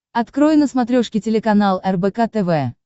открой на смотрешке телеканал рбк тв